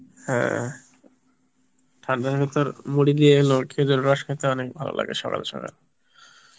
হ্যাঁ ঠান্ডার ভেতর মুড়ি দিয়ে খেজুরের রস খেতে অনেক ভালো লাগে সকাল বেলা